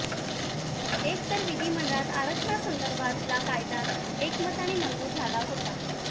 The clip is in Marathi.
एक तर विधिमंडळात आरक्षणासंदर्भातला कायदा एकमताने मंजूर झाला होता